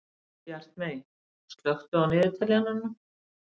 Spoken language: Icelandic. Bjartmey, slökktu á niðurteljaranum.